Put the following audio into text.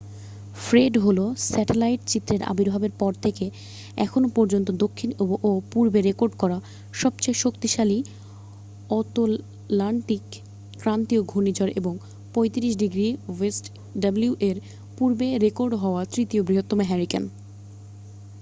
Fred হলো satellite চিত্রের আবির্ভাবের পর থেকে এখনও পর্যন্ত দক্ষিণ ও পূর্বে রেকর্ড করা সবচেয়ে শক্তিশালী অতলান্তিক ক্রান্তীয় ঘূর্ণিঝড় এবং 35°w-এর পূর্বে রেকর্ড হওয়া তৃতীয় বৃহত্তম হারিকেন।